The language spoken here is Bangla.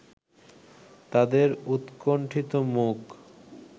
তাদের উৎকণ্ঠিত মুখ